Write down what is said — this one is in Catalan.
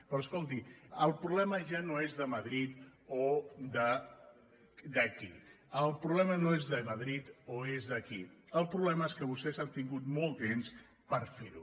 però escolti el problema ja no és de madrid o d’aquí el problema no és de madrid o és d’aquí el problema és que vostès han tingut molt temps per ferho